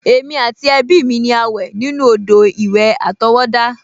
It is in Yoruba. Èmi àti ẹbí mi ni a wẹ̀ nínú odò-ìwẹ̀ àtọwọ́dá